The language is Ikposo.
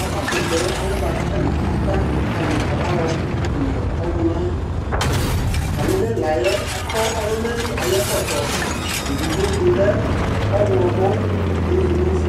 avakʋtɛ yɛ, alɛna bʋa kʋ atanɩ ata ka ma kamayɔ ma kele ɔlʋna yɛ Atamɩ nʋ ɛla yɛ akɔ ɔlʋnali ayʋ ɛkɔtɔ Edigbo sʋ lɛ ɔɣlɔmɔ, edigbo sʋ lɛ ofue